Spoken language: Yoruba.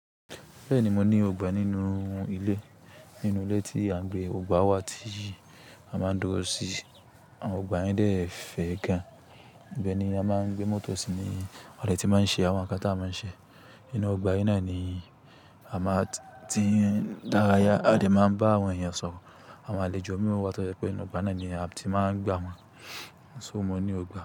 Bẹ́ẹ̀ni, mo ní ọgbà nínú ilé. Nínú ilé tí à ń gbé, gbogbà wà tí a máa ń dúró sí. Àwọn ọgbà yẹn dẹ̀ fẹ̀ gan. Ìbẹ́ ni a máa ń gbé mọ́tò sí ní a dẹ tí máa ń ṣe àwọn nǹkan tí a máa ń ṣe. Inú ọgbà yi náà ni a máa ti ń daraya. A dè máa n bá àwọn èèyàn sọ̀rọ̀. Àwọn àlejò mìí wá tọ̀ je pé nínú ọgbà náà ni a ti máa ń gbà wọ́n. So mo ní ọgbà.